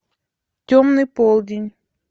темный полдень